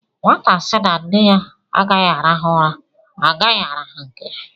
Nwata sị na nne ya agaghị arahu ụra, agaghị arahu nke ya.